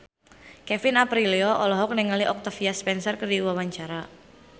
Kevin Aprilio olohok ningali Octavia Spencer keur diwawancara